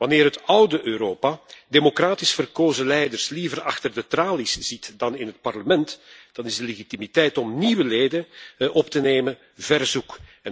Wanneer het oude Europa democratisch verkozen leiders liever achter de tralies ziet dan in het parlement, dan is de legitimiteit om nieuwe leden op te nemen, ver zoek.